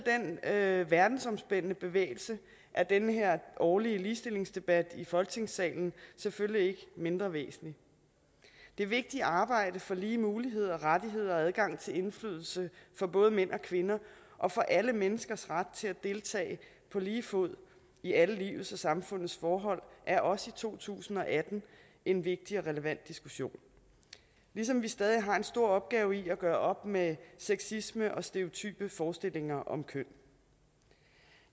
af den verdensomspændende bevægelse er den her årlige ligestillingsdebat i folketingssalen selvfølgelig ikke mindre væsentlig det vigtige arbejde for lige muligheder rettigheder og adgang til indflydelse for både mænd og kvinder og for alle menneskers ret til at deltage på lige fod i alle livets og samfundets forhold er også i to tusind og atten en vigtig og relevant diskussion ligesom vi stadig har en stor opgave i at gøre op med sexisme og stereotype forestillinger om køn